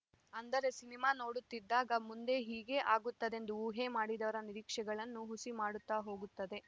ಅಂದರೆ ಸಿನಿಮಾ ನೋಡುತ್ತಿದ್ದಾಗ ಮುಂದೆ ಹೀಗೇ ಆಗುತ್ತದೆಂದು ಊಹೆ ಮಾಡಿದವರ ನಿರೀಕ್ಷೆಗಳನ್ನು ಹುಸಿ ಮಾಡುತ್ತ ಹೋಗುತ್ತದೆ